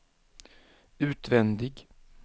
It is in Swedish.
utvändig